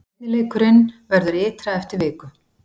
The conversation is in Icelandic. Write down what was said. Seinni leikurinn verður ytra eftir viku.